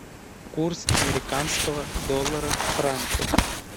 курс американского доллара к франку